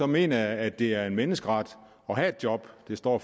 mener jeg at det er en menneskeret at have et job det står